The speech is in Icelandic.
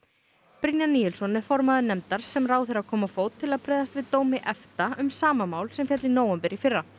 Brynjar Níelsson er formaður nefndar sem ráðherra kom á fót til að bregðast við dómi EFTA um sama mál sem féll í nóvember í fyrra